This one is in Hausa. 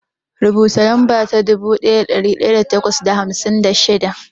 Rubuta lamba ta dubu ɗaya da ɗari takwas da hamsin da shida.